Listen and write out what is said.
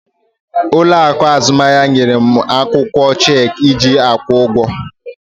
Ụlọ akụ azụmahịa nyere m akwụkwọ cheeki iji akwụ ụgwọ.